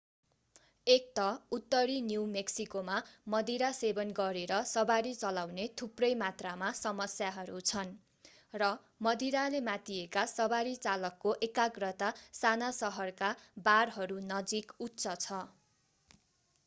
एक त उत्तरी न्यू मेक्सिकोमा मदिरा सेवन गरेर सवारी चलाउने थुप्रै मात्रामा समस्याहरू छन् र मदिराले मातिएका सवारी चालकको एकाग्रता साना सहरका बारहरू नजिक उच्च छ